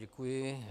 Děkuji.